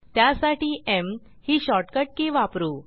त्यासाठी एम ही shortcut key वापरू